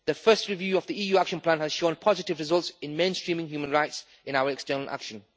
The first review of the EU action plan has shown positive results in mainstreaming human rights in our external action.